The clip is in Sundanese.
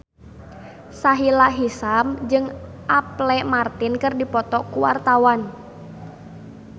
Sahila Hisyam jeung Apple Martin keur dipoto ku wartawan